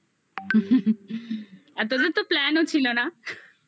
আর তোদের তো plan ও ছিল না